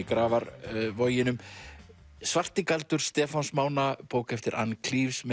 Grafarvoginum svartigaldur Stefáns Mána bók eftir ann